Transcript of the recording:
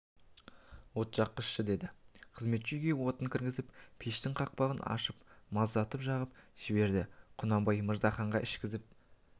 от жаққызшы деді қызметші үйге отын кіргізіп пештің қақпағын ашып маздатып жағып жіберді құнанбай мырзаханға ішкізіп